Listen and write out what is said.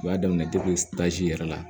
O y'a daminɛ yɛrɛ la